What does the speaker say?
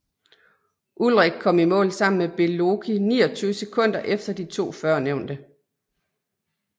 Ullrich kom i mål sammen med Beloki 29 sekunder efter de to førnævnte